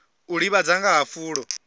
u ḓivhadza nga ha fulo